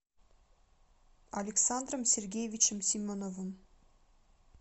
александром сергеевичем семеновым